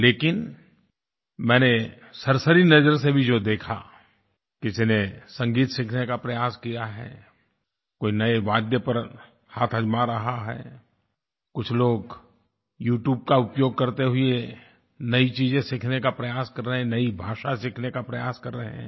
लेकिन मैंने सरसरी नज़र से भी जो देखा किसी ने संगीत सीखने का प्रयास किया है कोई नये वाद्य पर हाथ आज़मा रहा है कुछ लोग यू ट्यूब का उपयोग करते हुए नयी चीज़ें सीखने का प्रयास कर रहे हैं नयी भाषा सीखने का प्रयास कर रहे हैं